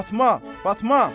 Fatma, Fatma!